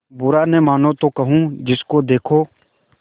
बुरा न मानों तो कहूँ जिसको देखो